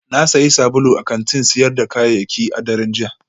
Na sayi sabulu a kantin sayar da kayayyaki a daren jiya